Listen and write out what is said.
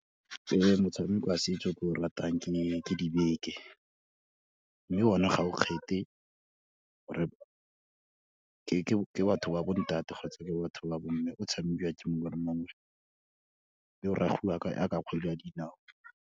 Motshameko wa setso o ke o ratang ke dibeke, mme one ga o kgethe or-e ke batho ba bontate kgotsa ke batho ba bomme o tshamekiwa ke mongwe le mongwe, mme o ragiwa yaka kgwele ya dinao.